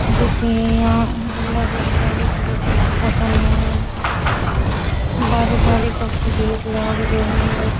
जटे यहाँ गुल्लाबी गुल्लाबी कलर को सभा है बाहरे जाली को सो गेट लाग रेहो है।